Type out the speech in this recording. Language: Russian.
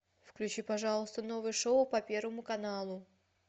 включи пожалуйста новое шоу по первому каналу